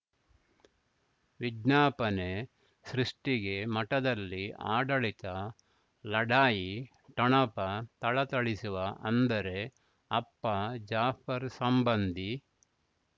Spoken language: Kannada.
ವಿಜ್ಞಾಪನೆ ಸೃಷ್ಟಿಗೆ ಮಠದಲ್ಲಿ ಆಡಳಿತ ಲಢಾಯಿ ಠೊಣಪ ಥಳಥಳಿಸುವ ಅಂದರೆ ಅಪ್ಪ ಜಾಫರ್ ಸಂಬಂಧಿ